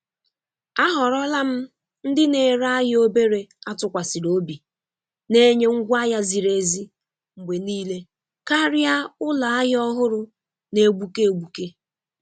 A họrọla m ndị na-ere ahịa obere a tụkwasịrị obi na-enye ngwa ahịa ziri ezi mgbe niile karịa ụlọ ahịa ọhụrụ na-egbuke egbuke.